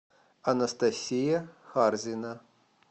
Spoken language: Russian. анастасия харзина